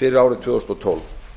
fyrir árið tvö þúsund og tólf